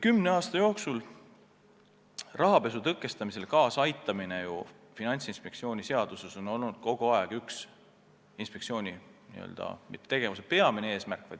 Kümne aasta jooksul on rahapesu tõkestamisele kaasa aitamine on olnud üks inspektsiooni kõrvaleesmärke, mitte meie tegevuse peamine eesmärk.